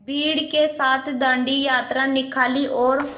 भीड़ के साथ डांडी यात्रा निकाली और